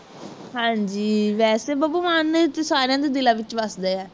ਹਾਂਜੀ ਵੈਸੇ ਬੱਬੂ ਮਾਨ ਸਾਰਿਆਂ ਦੇ ਦਿੱਲਾ ਵਿਚ ਵਸਦਾ ਹੈ